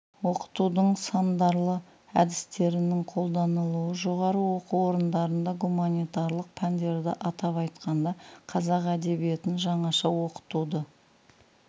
оқытудың сындарлы әдістерінің қолданылуы жоғары оқу орындарында гуманитарлық пәндерді атап айтқанда қазақ әдебиетін жаңаша оқытуды